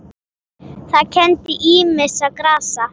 Það kenndi ýmissa grasa